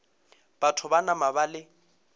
batho ba nama ba le